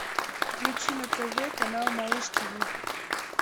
включи на тв канал малыш тв